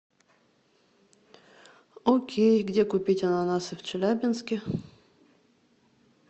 окей где купить ананасы в челябинске